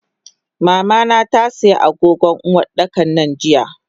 Mamana tasiya agogon Uwardakan nan jiya.